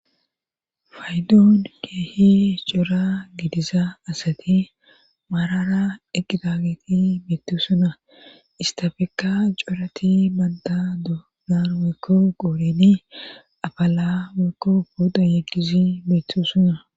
faydoon keehi cora gidiza asati maarara eqqidaageti meettu suna istafeka corati banta doonar wykko gooreni afaala wykko booda yeqqizi meettu suna